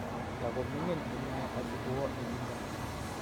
Tigomining inne asigowoo olindo